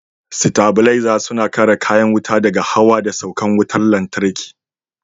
Sitabilaza suna kare kayan wuta daga hawa da saukan wutar lantarki.